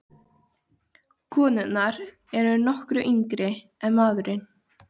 Konurnar eru nokkru yngri en maðurinn.